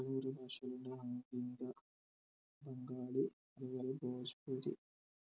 ഭാഷയുണ്ട് ആധുനിക ബംഗാളി അത്‌പോലെ